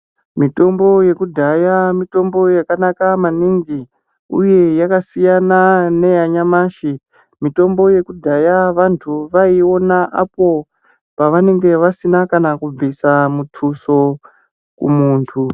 Mitombo yekudhaya mitombo yakanaka maningi, uye yakasiyana neyanyamashi. Mitombo yekudhaya vantu vaiiona apo pavanenge vasina kana kubvisa mutuso kumuntu.